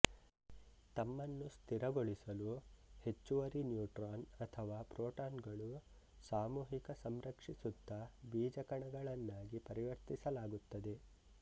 ತಮ್ಮನ್ನು ಸ್ಥಿರಗೊಳಿಸಲು ಹೆಚ್ಚುವರಿ ನ್ಯೂಟ್ರಾನ್ ಅಥವಾ ಪ್ರೋಟಾನ್ಗಳು ಸಾಮೂಹಿಕ ಸಂರಕ್ಷಿಸುತ್ತ ಬೀಜಕಣಗಳನ್ನಾಗಿ ಪರಿವರ್ತಿಸಲಾಗುತ್ತದೆ